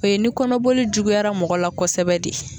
O ye ni kɔnɔboli juguyara mɔgɔ la kosɛbɛ de.